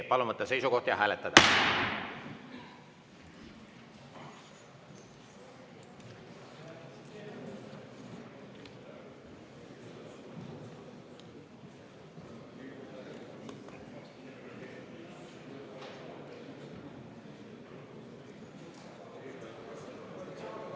Palun võtta seisukoht ja hääletada!